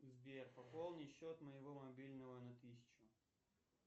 сбер пополни счет моего мобильного на тысячу